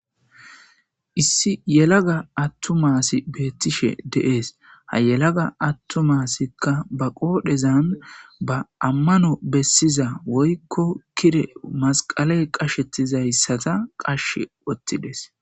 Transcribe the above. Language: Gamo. Issi yelaga attumassi beettishe deees ha yelaga attumasikka ba qoodhezan ba ammano bessiza woykko kire masqaley qashettizayssata qashshe wottides.